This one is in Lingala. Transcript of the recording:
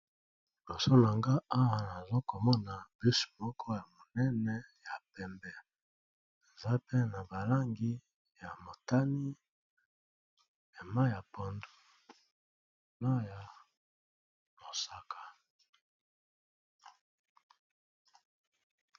Liboso nanga awa nazo komona bus moko ya monene ya pembe, eza mpe na ba langi ya motani ya mayi ya pondu na ya mosaka.